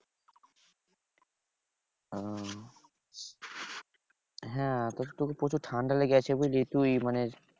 ওহ হ্যাঁ তোর তোকে প্রচুর ঠান্ডা লেগে আছে বুঝলি তুই মানে।